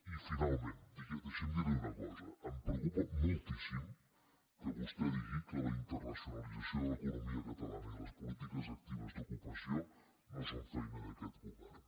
i finalment deixi’m dir li una cosa em preocupa moltíssim que vostè digui que la internacionalització de l’economia catalana i les polítiques actives d’ocupació no són feina d’aquest govern